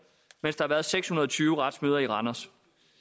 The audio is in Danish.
mens der har været seks hundrede og tyve retsmøder i randers